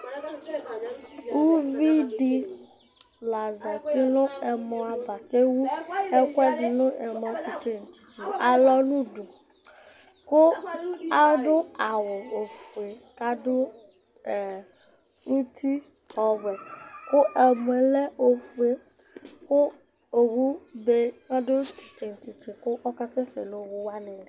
Uvidi la zati nu ɛmɔ ava, ku ewu ɛku ɛdi di nu ɛmɔ titse nu titse alɔ nu udu, ku adu awu ofue, ku adu , ɛɛ, uti ɔwɛ, ku ɛmʋɛ lɛ ofue, ku owu du titse nu titse ku ɔka sɛsɛ nu owu wʋani li